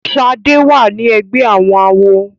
Shade wá ní ègbé àwọn àwo.